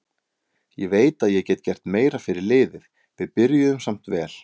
Ég veit að ég get gert meira fyrir liðið, við byrjuðum samt vel.